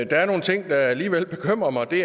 er nogle ting der alligevel bekymrer mig det